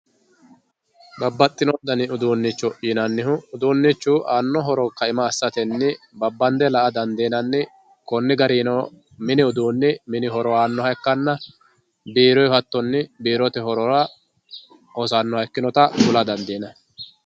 Babaxitino dani ufuunicho yinanihu uduunichu aano horoni kainohuni babandr la'a dandinanni koni garino mini uduuni mini horo aanoha ikkana biirohu hatonni biirote horora hosanoha ikkinota kula dandinanni